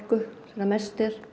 þegar mest er